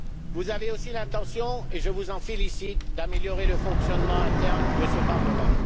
Vous avez aussi l'intention, et je vous en félicite, d'améliorer le fonctionnement interne de ce Parlement.